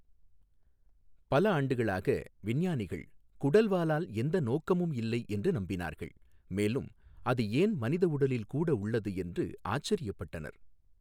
பல ஆண்டுகளாக, விஞ்ஞானிகள் குடல்வாலால் எந்த நோக்கமும் இல்லை என்று நம்பினார்கள், மேலும் அது ஏன் மனித உடலில் கூட உள்ளது என்று ஆச்சரியப்பட்டனர்.